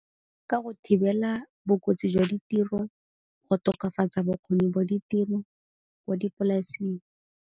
Ka go thibela bokotsi jwa ditiro, go tokafatsa bokgoni bo ditiro kwa dipolaseng.